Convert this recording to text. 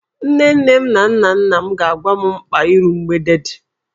Nne nne m na nna nna m ga-agwa m mkpa iru mgbede dị